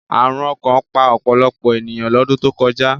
Àrùn ọkàn pa ọ̀pọ̀lọpọ̀ ènìyàn lọ́dún tó kọjá